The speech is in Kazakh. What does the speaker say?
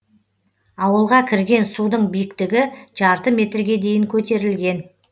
ауылға кірген судың биіктігі жарты метрге дейін көтерілген